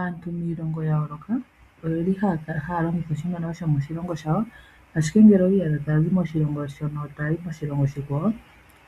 Aantu miilongo ya yooloka oyeli haya longitha oshimaliwa shomoshilongo shawo, ashike ngele owiiyadha taya zi moshilongo shono toyi moshilongo oshikwawo